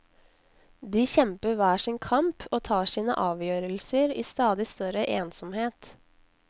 De kjemper hver sin kamp og tar sine avgjørelser i stadig større ensomhet.